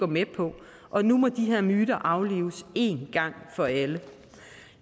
med på og nu må de her myter aflives en gang for alle